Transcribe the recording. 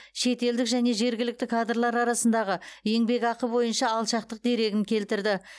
шетелдік және жергілікті кадрлар арасындағы еңбекақы бойынша алшақтық дерегін келтірді